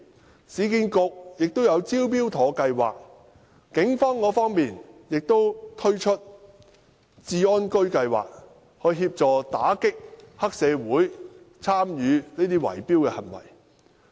市區重建局推出了"招標妥"計劃，警方亦推出了"復安居計劃"，協助打擊有黑社會參與的圍標行為。